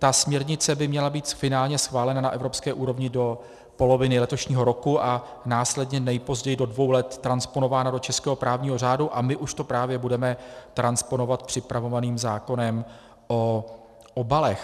Ta směrnice by měla být finálně schválena na evropské úrovni do poloviny letošního roku a následně nejpozději do dvou let transponována do českého právního řádu a my už to právě budeme transponovat připravovaným zákonem o obalech.